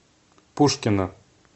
пушкино